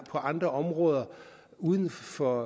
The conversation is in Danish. andre områder uden for